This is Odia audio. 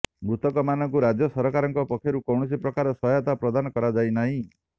ମୃତକମାନଙ୍କୁ ରାଜ୍ୟ ସରକାରଙ୍କ ପକ୍ଷରୁ କୌଣସି ପ୍ରକାର ସହାୟତା ପ୍ରଦାନ କରାଯାଇନାହିଁ